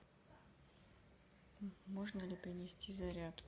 можно ли принести зарядку